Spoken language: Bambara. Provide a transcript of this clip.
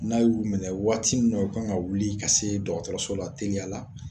N'a y'u minɛ waati min u kan ka wuli ka se dɔgɔtɔrɔso la teliya la